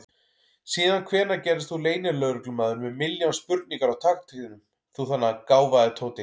Síðan hvenær gerðist þú leynilögreglumaður með milljón spurningar á takteinum, þú þarna gáfaði Tóti!